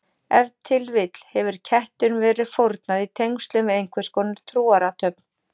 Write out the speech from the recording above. Ef til vill hefur kettinum verið fórnað í tengslum við einhverskonar trúarathöfn.